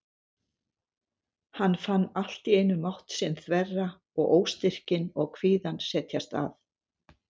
Hann fann allt í einu mátt sinn þverra og óstyrkinn og kvíðann setjast að.